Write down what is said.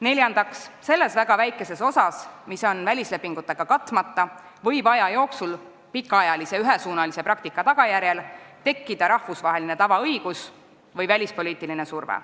Neljandaks, selles väga väikeses osas, mis on välislepingutega katmata, võib aja jooksul pikaajalise ühesuunalise praktika tagajärjel tekkida rahvusvaheline tavaõigus või välispoliitiline surve.